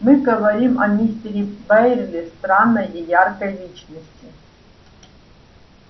мы говорили о мистере байерли странной и яркой личности